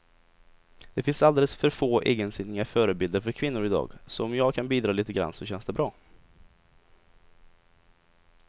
Det finns alldeles för få egensinniga förebilder för kvinnor i dag, så om jag kan bidra lite grann så känns det bra.